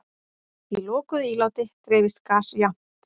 Í lokuðu íláti dreifist gas jafnt.